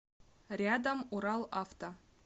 рядом уралавто